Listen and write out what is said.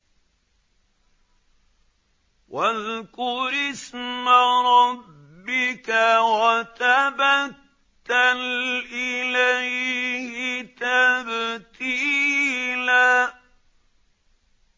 وَاذْكُرِ اسْمَ رَبِّكَ وَتَبَتَّلْ إِلَيْهِ تَبْتِيلًا